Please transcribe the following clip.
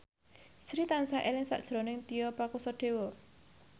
Sri tansah eling sakjroning Tio Pakusadewo